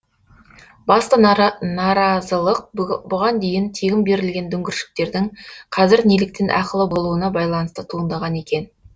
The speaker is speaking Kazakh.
басты наразылық бұған дейін тегін берілген дүңгіршектердің қазір неліктен ақылы болуына байланысты туындаған екен